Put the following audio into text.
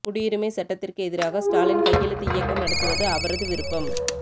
குடியுரிமை சட்டத்திற்கு எதிராக ஸ்டாலின் கையெழுத்து இயக்கம் நடத்துவது அவரது விருப்பம்